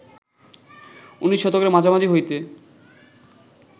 উনিশ শতকের মাঝামাঝি হইতে